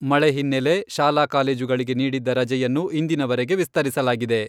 ಮಳೆ ಹಿನ್ನೆಲೆ, ಶಾಲಾ ಕಾಲೇಜುಗಳಿಗೆ ನೀಡಿದ್ದ ರಜೆಯನ್ನು ಇಂದಿನವರೆಗೆ ವಿಸ್ತರಿಸಲಾಗಿದೆ.